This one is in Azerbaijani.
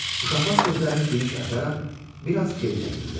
Uşaqlar gözlərini geniş açaraq bir az geri çəkildilər.